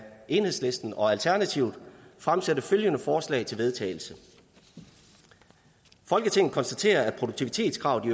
enhedslisten og alternativet fremsætte følgende forslag til vedtagelse folketinget konstaterer at produktivitetskravet i